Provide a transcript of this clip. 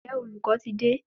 Ǹjẹ́ olùkọ́ ti dé?